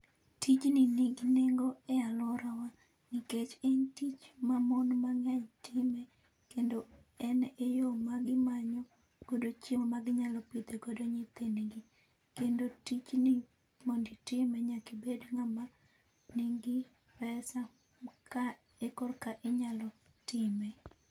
Tijni ni gi nengo e aluorawa nikech en tich mamon mang'eny timo kendo en eyo ma gimanyo godo chiemo ma ginyalo pidho godo nyithindgi. Kendo tijni mondo itime nyaka ibed ng'ama nigi pesa ka ekorka inyalo time.